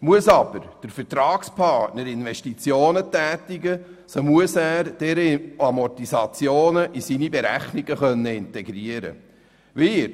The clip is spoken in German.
Muss aber der Vertragspartner Investitionen tätigen, so muss er auch deren Amortisationen in seine Berechnungen integrieren können.